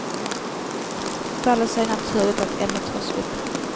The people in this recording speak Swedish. Det faller sig naturligt att ämnet tas upp.